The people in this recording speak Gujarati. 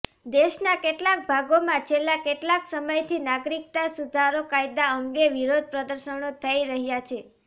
દેશના કેટલાક ભાગોમાં છેલ્લા કેટલાક સમયથી નાગરિકતા સુધારો કાયદા અંગે વિરોધ પ્રદર્શનો થઈ રહ્યા છે